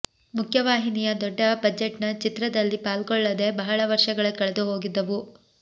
ಮುಖ್ಯ ವಾಹಿನಿಯ ದೊಡ್ಡ ಬಜೆಟ್ನ ಚಿತ್ರದಲ್ಲಿ ಪಾಲ್ಗೊಳ್ಳದೆ ಬಹಳ ವರ್ಷಗಳೇ ಕಳೆದು ಹೋಗಿದ್ದವು